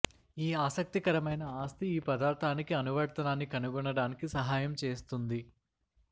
ఈ ఆసక్తికరమైన ఆస్తి ఈ పదార్ధానికి అనువర్తనాన్ని కనుగొనడానికి సహాయం చేస్తుంది